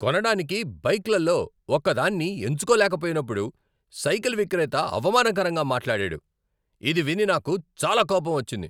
కొనడానికి బైక్లలో ఒకదాన్ని ఎంచుకోలేకపోయినప్పుడు సైకిల్ విక్రేత అవమానకరంగా మాట్లాడాడు, ఇది విని నాకు చాలా కోపం వచ్చింది.